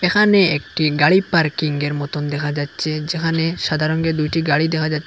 এখানে একটা গাড়ি পার্কিংয়ের মতন দেখা যাচ্ছে যেখানে সাদা রঙের দুইটি গাড়ি দেখা যা--